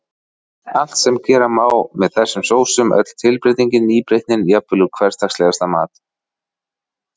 Allt sem gera má með þessum sósum, öll tilbreytingin, nýbreytnin, jafnvel úr hversdagslegasta mat.